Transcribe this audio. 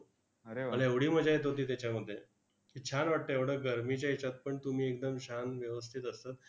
मला एवढी मजा येत होती त्याच्यामध्ये की, छान वाटतंय एवढ्या गरमीच्या हेच्यात पण तुम्ही एकदम छान व्यवस्थित असतात.